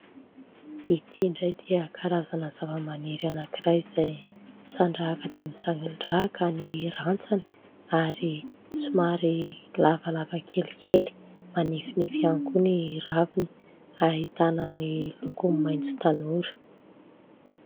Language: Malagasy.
Ity indray dia karazana zavamaniry anakiray izay misandrahaka dia misandrahaka ny rantsany ary somary lavalava kelikely manifinify ihany koa ny raviny, ahitana ny lokony maitso tanora.